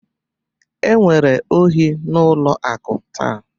Enwere ohi n'ụlọ akụ taa